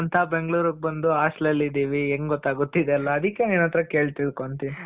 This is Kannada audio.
ಓದಕಂತ ಬೆಂಗಳೂರ್ಗ್ ಬಂದು hostel ಅಲ್ಲಿದಿವಿ. ಹೆಂಗೆ ಗೊತ್ತಾಗುತ್ತೆ ಇದೆಲ್ಲ ಅದಕ್ಕೆ ನಿನ್ ಹತ್ರ ಕೇಳಿ ತಿಳ್ಕೊಂತ ಇದಿನಿ.